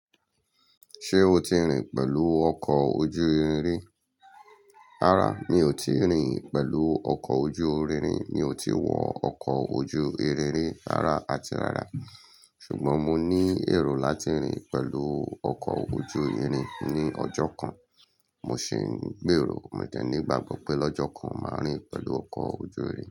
Ṣé o ti rìn pẹ̀lú ọkọ̀ ojú irin rí? Rárá, mi ò ti rìn pẹ̀lú ọkọ̀ ojú irin rí. Mi ò ti wọ ọkọ̀ ojú irin rí rárá àti rárá. Ṣùgbọ́n mo ní ẹ̀rù láti rìn pẹ̀lú ọkọ̀ ojú irin ní ọjọ́ kan. Mo sì ń gbèrò mo de ní igbagbo pé lọ́jọ́ kan màá rìn pẹ̀lú ọkọ̀ ojú irin.